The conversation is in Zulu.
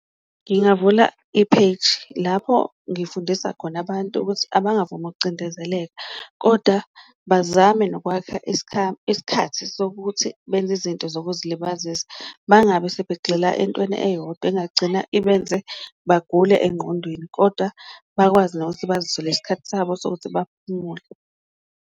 Ngingavula ipheji lapho ngifundisa khona abantu ukuthi abangavumi ukucindezeleka koda bazame nokwakha isikhathi sokuthi benze izinto zokuzilibazisa. Bangabe sebegxila entweni eyodwa engagcina ibenze bagule engqondweni, kodwa bakwazi nokuthi bazitholele isikhathi sabo sokuthi baphumule.